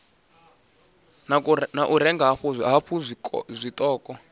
ha u renga hafhu tshiṱoko